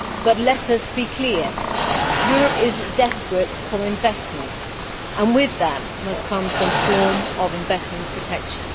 But let us be clear Europe is desperate for investment, and with that must come some form of investment protection.